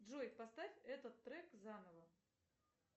джой поставь этот трек заново